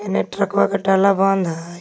हेने ट्रकवा के टाला बंद है.